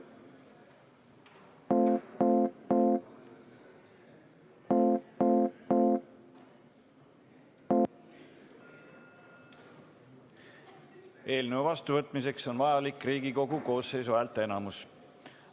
Eelnõu vastuvõtmiseks on vajalik Riigikogu koosseisu häälteenamus.